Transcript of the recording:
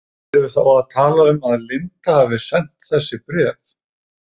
Erum við þá að tala um að Linda hafi sent þessi bréf?